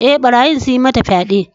E, barayin sun yi mata fyaɗe.